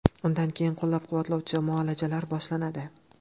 Undan keyin qo‘llab-quvvatlovchi muolajalari boshlanadi.